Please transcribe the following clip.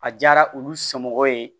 A diyara olu somɔgɔw ye